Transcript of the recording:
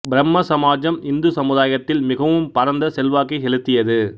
பிரம்ம சமாஜம் இந்து சமுதாயத்தில் மிகவும் பரந்த செல்வாக்கை செலுத்தியது